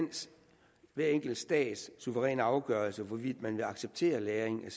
hver enkelt stats suveræne afgørelse hvorvidt man vil acceptere lagring